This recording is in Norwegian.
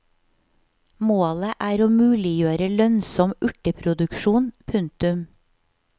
Målet er å muliggjøre lønnsom urteproduksjon. punktum